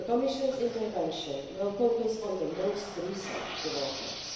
the Commission's intervention will focus on the most recent developments.